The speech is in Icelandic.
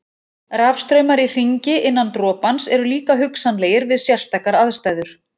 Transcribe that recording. Rafstraumar í hringi innan dropans eru líka hugsanlegir við sérstakar aðstæður.